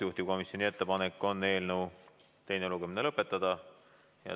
Juhtivkomisjoni ettepanek on eelnõu teine lugemine lõpetada.